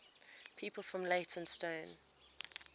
people from leytonstone